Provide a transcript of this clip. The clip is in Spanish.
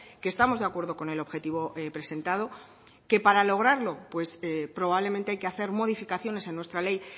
que estamos de acuerdo con el objetivo presentado que para lograrlo probablemente hay que hacer modificaciones en nuestra ley